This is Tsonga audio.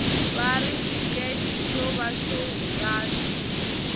vari xikece xo va xo hungasa